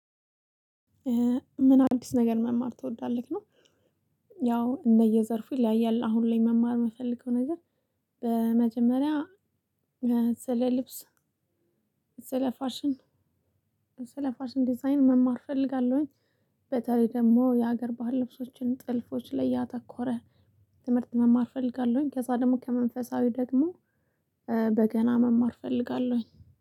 ምን አዲስ ነገር መማር ትወዳለህ ነው? ያው እንደየዘርፉ ይለያያል አሁን ላይ መማር የምፈልገው ነገር። በመጀመሪያ ስለ ልብስ ስለ ፋሽን ስለፋሽን ዲዛይን መማር እፈልጋለሁኝ። በተለይ ደግሞ የሀገር ባህል ልብሶችን ጥልፎች ላይ ያተኮረ ትምህርት መማር እፈልጋለሁኝ። ከዛ ደግሞ ከመንፈሳዊ ደግሞ በገና መማር እፈልጋለሁኝ።